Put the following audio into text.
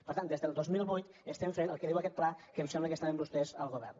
per tant des del dos mil vuit estem fent el que diu aquest pla que em sembla que estaven vostès al govern